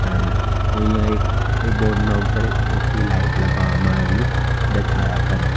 આના અહીંયા એક એ બોર્ડ ના ઉપર એક મોટી લાઇટ લગાવવામાં આવેલી દેખાયા કરે.